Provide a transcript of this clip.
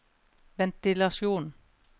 ventilasjon